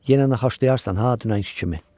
Yenə naxaşlayarsan ha dünənki kimi.